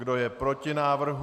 Kdo je proti návrhu?